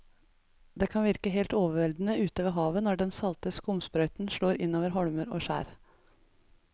Det kan virke helt overveldende ute ved havet når den salte skumsprøyten slår innover holmer og skjær.